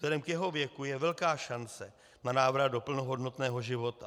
Vzhledem k jeho věku je velká šance na návrat do plnohodnotného života.